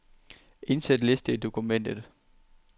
Indsæt liste i dokumentet.